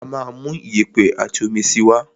Á máa mú iyẹ̀pẹ̀ àti omi síi wá.